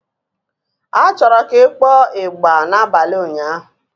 A chọrọ ka ị kpọọ ịgbà n'abalị ụnyaahụ.